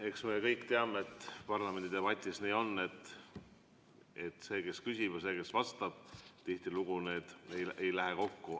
Eks me kõik teame, et parlamendi debatis on nii, et küsimus ja vastus tihtilugu ei lähe kokku.